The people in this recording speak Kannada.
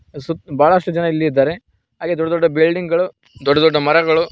ಸುತ್ ಬಹಳಷ್ಟು ಜನರು ಇಲ್ಲಿ ಇದ್ದಾರೆ ಹಾಗೆ ದೊಡ್ಡ ದೊಡ್ಡ ಬಿಲ್ಡಿಂಗ್ ಗಳು ದೊಡ್ಡ ದೊಡ್ಡ ಮರಗಳು --